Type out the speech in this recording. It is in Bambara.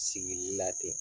Sigili la ten.